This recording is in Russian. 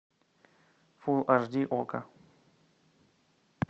фул аш ди окко